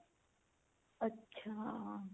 ਅੱਛਾ